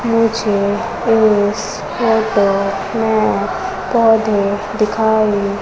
नीचे एक फोटो में पौधे दिखाई--